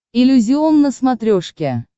иллюзион на смотрешке